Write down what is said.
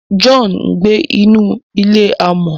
John ngbé nínú ilé amò